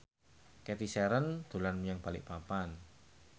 Cathy Sharon dolan menyang Balikpapan